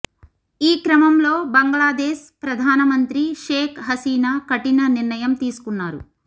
ఈ క్రమంలో బంగ్లాదేశ్ ప్రధానమంత్రి షేక్ హసినా కఠిన నిర్ణయం తీసుకున్నారు